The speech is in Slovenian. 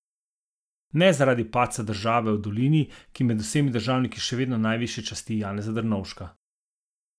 Ne zaradi padca države v dolini, ki med vsemi državniki še vedno najvišje časti Janeza Drnovška.